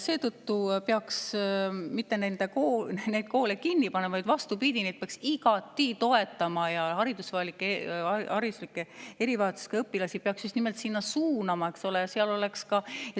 Seetõttu ei peaks neid koole mitte kinni panema, vaid vastupidi, neid peaks igati toetama ja hariduslike erivajadustega õpilasi peaks just nimelt sinna suunama.